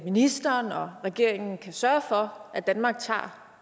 ministeren og regeringen kan sørge for at danmark tager